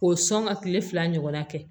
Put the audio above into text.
K'o sɔn ka kile fila ɲɔgɔnna kɛ